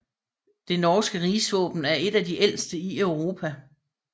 Det norske rigsvåben er et af de ældste i Europa